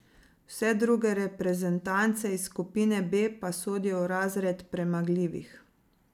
Vse druge reprezentance iz skupine B pa sodijo v razred premagljivih.